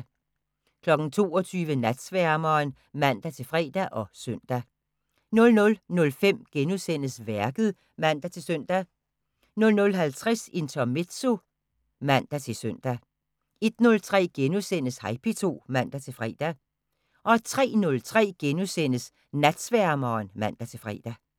22:00: Natsværmeren (man-fre og søn) 00:05: Værket *(man-søn) 00:50: Intermezzo (man-søn) 01:03: Hej P2 *(man-fre) 03:03: Natsværmeren *(man-fre)